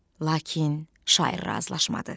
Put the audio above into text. Lakin şair razılaşmadı.